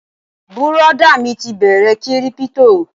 Bùrọ̀dá mi ti bẹ̀rẹ kírípítò